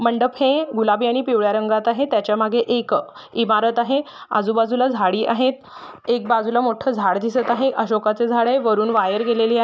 मंडप आहे गुलाबी आणि पिवळ्या रंगात आहे त्याच्या मागे एक इमारत आहे आजूबाजूला झाडी आहेत एक बाजूला मोठ झाड दिसत आहे अशोकाच झाड आहे वरुण वायर गेलेली आहे.